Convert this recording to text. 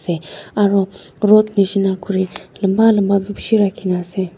aro rod nishina khuri lamba lamba bi bishi rakhi na ase.